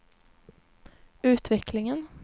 utvecklingen